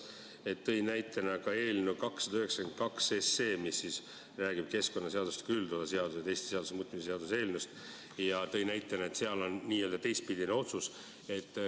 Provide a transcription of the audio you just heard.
Ta tõi näitena esile eelnõu 292, mis räägib keskkonnaseadustiku üldosa seaduse ja teiste seaduste muutmisest, ning märkis, et seal on tehtud n-ö teistpidine otsus.